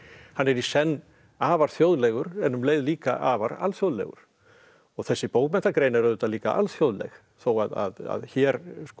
hann er í senn afar þjóðlegur en um leið líka afar alþjóðlegur og þessi bókmenntagrein er auðvitað líka alþjóðleg þó að hér